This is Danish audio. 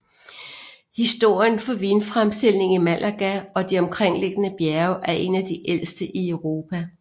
Historien for vinfremstilling i Málaga og de omkringliggende bjerge er en af de ældste i Europa